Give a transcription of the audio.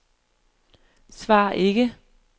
svar ikke